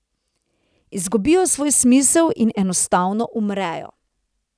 Izgubijo svoj smisel in enostavno umrejo.